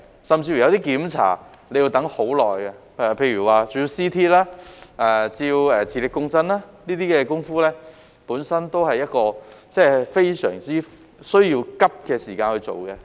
甚至有些檢查，亦需要等很久，例如照 CT、照磁力共振，這些工夫都需要在趕急的時間內進行。